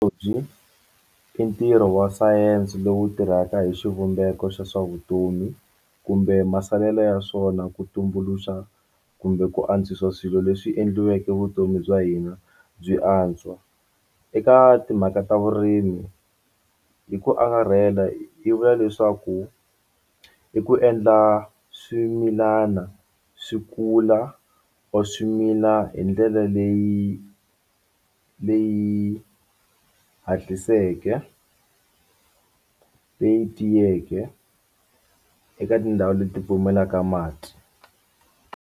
I ntirho wa science lowu tirhaka hi xivumbeko xa swa vutomi kumbe masalela ya swona ku tumbuluxa kumbe ku antswisa swilo leswi endliweke vutomi bya hina byi antswa eka timhaka ta vurimi hi ku angarhela yi vula leswaku i ku endla swimilana swi kula or swi mila hi ndlela leyi leyi hatliseke leyi tiyeke eka tindhawu leti pfumalaka mati.